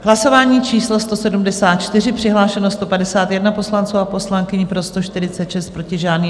Hlasování číslo 174, přihlášeno 151 poslanců a poslankyň, pro 146, proti žádný.